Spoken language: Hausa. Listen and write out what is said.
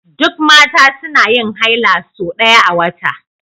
Duk Mata suna yin haila sau ɗaya a wata